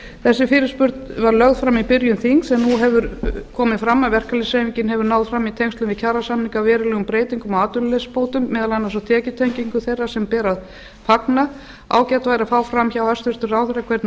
þessi fyrirspurn var lögð fram í byrjun þings en nú hefur komið fram að verkalýðshreyfingin hefur náð fram í tengslum við kjarasamninga verulegum breytingum á atvinnuleysisbótum meðal annars á tekjutengingu þeirra sem ber að fagna ágætt væri að fá fram hjá hæstvirtum ráðherra hvernig